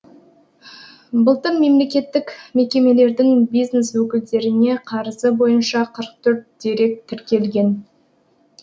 былтыр мемлекеттік мекемелердің бизнес өкілдеріне қарызы бойынша қырық төрт дерек тіркелген